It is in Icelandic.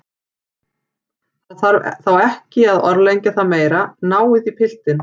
Það þarf þá ekki að orðlengja það meira, náið í piltinn.